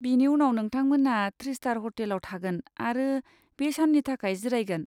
बेनि उनाव नोंथांमोनहा थ्रि स्टार हटेलआव थागोन आरो बे साननि थाखाय जिरायगोन।